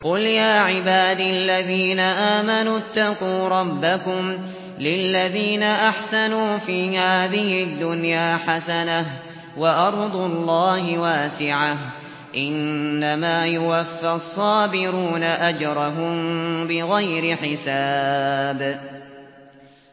قُلْ يَا عِبَادِ الَّذِينَ آمَنُوا اتَّقُوا رَبَّكُمْ ۚ لِلَّذِينَ أَحْسَنُوا فِي هَٰذِهِ الدُّنْيَا حَسَنَةٌ ۗ وَأَرْضُ اللَّهِ وَاسِعَةٌ ۗ إِنَّمَا يُوَفَّى الصَّابِرُونَ أَجْرَهُم بِغَيْرِ حِسَابٍ